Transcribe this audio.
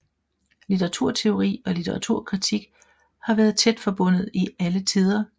Litteraturteori og litteraturkritik har vært tæt forbundet i alle tider